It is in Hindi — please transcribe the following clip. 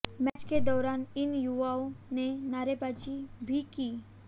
मैच के दौरान इन युवाओं ने नारेबाजी भी की